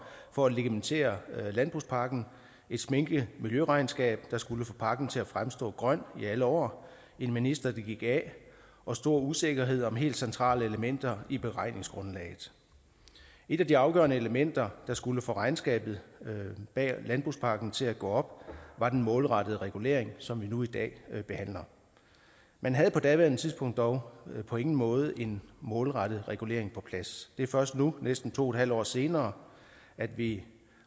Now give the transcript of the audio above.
for at legitimere landbrugspakken et sminket miljøregnskab der skulle få pakken til at fremstå grøn i alle år en minister der gik af og stor usikkerhed om helt centrale elementer i beregningsgrundlaget et af de afgørende elementer der skulle få regnskabet bag landbrugspakken til at gå op var den målrettede regulering som vi behandler nu i dag man havde på daværende tidspunkt dog på ingen måde en målrettet regulering på plads det er først nu næsten to et halvt år senere at vi